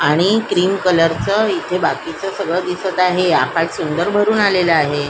आणि green colour चं इथ बाकीचं सगळ दिसत आहे आकाश सुंदर भरुन आलेलं आहे.